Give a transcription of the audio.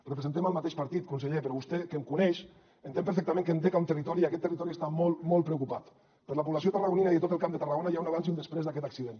representem el mateix partit conseller però vostè que em coneix entén perfectament que em dec a un territori i aquest territori està molt molt preocupat per la població tarragonina i de tot el camp de tarragona hi ha un abans i un després d’aquest accident